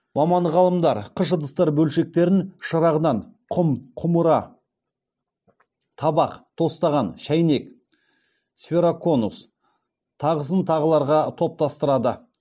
маман ғалымдар қыш ыдыстар бөлшектерін шырағдан құм құмыра табақ тостаған шәйнек сфероконус тағысын тағыларға топтастырады